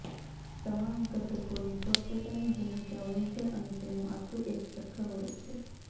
તમામ ઘતકોની પોતપોતાની ભૂમિકા હોય છે અને તેનું આખું એક ચક્ર હોય છે